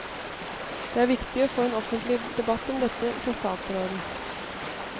Det er viktig å få en offentlig debatt om dette, sa statsråden.